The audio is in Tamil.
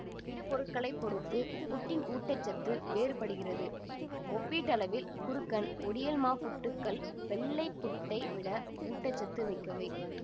இடுபொருட்களைப் பொறுத்து புட்டின் ஊட்ட சத்து வேறுபடுகிறது ஒப்பீட்டளவில் குருக்கன் ஒடியல் மா புட்டுக்கள் வெள்ளை புட்டை விட ஊட்ட சத்து மிக்கவை